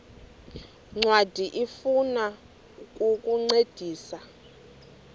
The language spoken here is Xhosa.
ncwadi ifuna ukukuncedisa